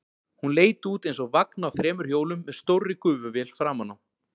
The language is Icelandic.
Hún leit út eins og vagn á þremur hjólum með stórri gufuvél framan á.